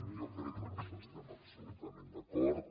jo crec que amb això estem absolutament d’acord